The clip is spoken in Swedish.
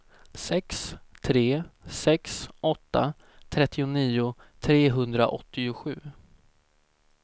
sex tre sex åtta trettionio trehundraåttiosju